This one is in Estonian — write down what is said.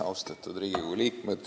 Austatud Riigikogu liikmed!